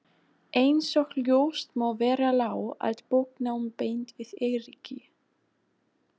Einsog ljóst má vera lá allt bóknám beint við Eiríki.